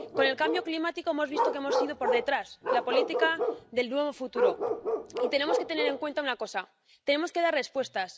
Con el cambio climático hemos visto que hemos ido por detrás en la política del nuevo futuro, y tenemos que tener en cuenta una cosa tenemos que dar respuestas.